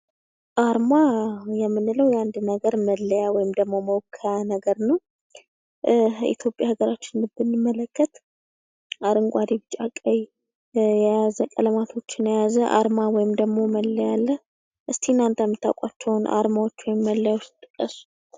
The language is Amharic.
አርማ ውይም ደግሞ መለያ የምንለው የአንድን ሀገር መለያ ወይም ደግሞ መወከያ ነገር ነው። ኢትዮጵያ ሀገራችን ስንመለከት አረንጓዴ ቢጫ ቀይ ቀለማቶችን የያዘ አርማ አለ ። እስኪ እናንተ የምታዉቋቸውን አርማዎች ወይም መለያዎች ጥቀሱ?